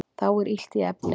Þá er illt í efni